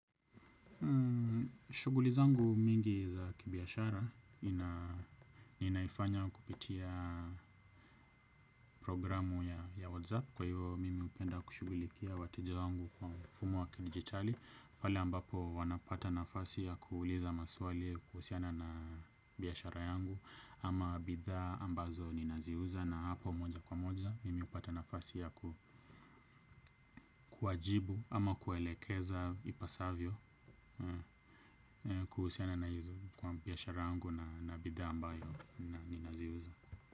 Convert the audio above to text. Shughuli zangu mingi za kibiashara, ninaifanya kupitia programu ya WhatsApp. Kwa hiyo, mimi hupenda kushughulikia wateja wangu kwa mfumo wa kidijitali. Wale ambapo wanapata nafasi ya kuuliza maswali kuhusiana na biashara yangu. Ama bidhaa ambazo ninaziuza na hapo moja kwa moja. Mimi hupata nafasi ya kuwajibu ama kuelekeza ipasavyo kuhusiana na hizo kwa biashara yangu. Bidhaa ambayo na ninaziuza.